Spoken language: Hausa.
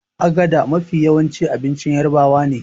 agada Mafi yawa abincin yarabawane